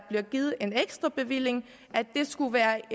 bliver givet en ekstra bevilling og at det skulle være